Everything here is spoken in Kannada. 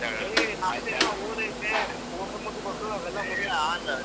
ಓದ್ ಐತೆ.